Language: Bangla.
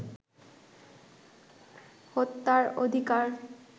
হত্যার অধিকার